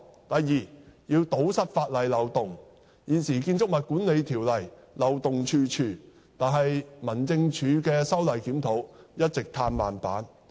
第二，政府必須堵塞法例漏洞，現時《建築物管理條例》漏洞處處，但民政事務總署的修例檢討一直"嘆慢板"。